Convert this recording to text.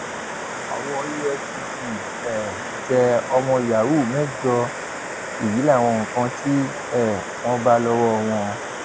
owó efcc um tẹ ọmọ yahoo mẹjọ èyí láwọn nǹkan tí um wọn bá lọwọ wọn